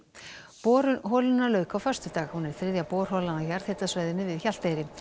borun holunnar lauk á föstudag hún er þriðja borholan á jarðhitasvæðinu við Hjalteyri